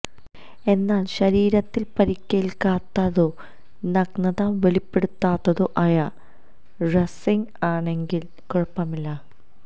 എന്നാല് ശരീരത്തിന് പരിക്കേല്ക്കാത്തതോ നഗ്നത വെളിപ്പെടുത്താത്തതോ ആയ റസ്ലിംഗ് ആണെങ്കില് കുഴപ്പമില്ല